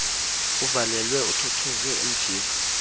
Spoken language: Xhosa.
uvalelwe uthothoze emjiva